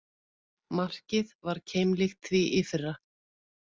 Markið var keimlíkt því fyrra